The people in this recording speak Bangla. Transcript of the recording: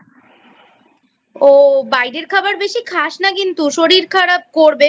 ও বাইরের খাবার বেশি খাস না কিন্তু শরীর খারাপ করবে।